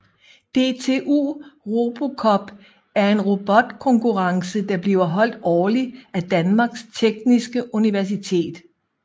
DTU RoboCup er en robotkonkurrence der bliver holdt årligt af Danmarks Tekniske Universitet